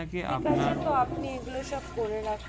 ঠিক আছে তো আপনি এগুলো সব করে রাখুন